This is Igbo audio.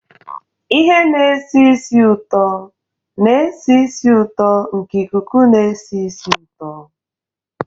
Ihe na-esi ísì ụtọ na-esi ísì ụtọ nke ikuku na-esi ísì ụtọ.